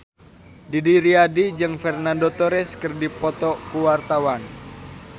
Didi Riyadi jeung Fernando Torres keur dipoto ku wartawan